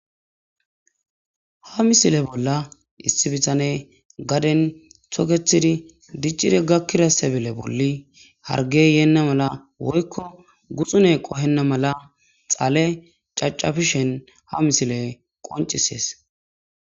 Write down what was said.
Ha misileza bolla issi bithanee gaden thokeththidi diccidi gakkiza seble bolli harggee yeenna mala woykko gutsunee qohenna mala xale caccafishen ha mislee qonccisses.